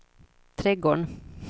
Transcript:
trädgården